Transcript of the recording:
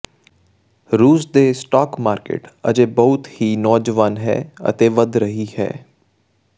ਰੂਸ ਦੇ stock market ਅਜੇ ਵੀ ਬਹੁਤ ਹੀ ਨੌਜਵਾਨ ਹੈ ਅਤੇ ਵਧ ਰਹੀ ਹੈ